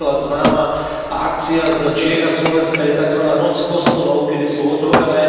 Napríklad známa akcia z Čiech a Slovenska je takzvaná Noc kostolov, keď sú otvorené.